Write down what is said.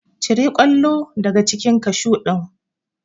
Cire kwallo daga cikin kashu ɗin!